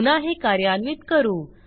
पुन्हा हे कार्यान्वित करू